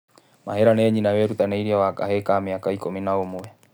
Mahĩra nĩ nyina wĩrutanĩirie wa kahĩĩ ka mĩaka ikũmi na ũmwe.